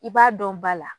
I b'a dɔn ba la